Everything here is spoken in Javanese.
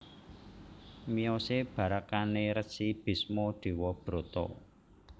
Miyosé barakané Resi Bisma Dewabrata